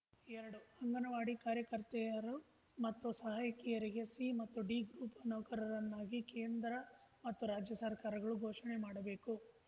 ಎರಡು ಅಂಗನವಾಡಿ ಕಾರ್ಯಕರ್ತೆಯರು ಮತ್ತು ಸಹಾಯಕಿಯರಿಗೆ ಸಿ ಮತ್ತು ಡಿ ಗ್ರೂಪ್‌ ನೌಕರರನ್ನಾಗಿ ಕೇಂದ್ರ ಮತ್ತು ರಾಜ್ಯ ಸರ್ಕಾರಗಳು ಘೋಷಣೆ ಮಾಡಬೇಕು